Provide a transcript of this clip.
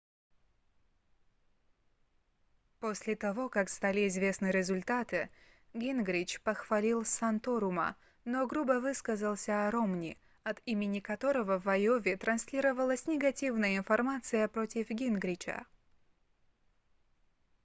после того как стали известны результаты гингрич похвалил санторума но грубо высказался о ромни от имени которого в айове транслировалась негативная информация против гингрича